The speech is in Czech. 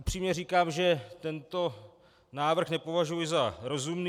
Upřímně říkám, že tento návrh nepovažuji za rozumný.